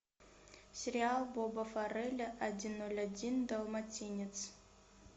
сериал боба фарелля один ноль один далматинец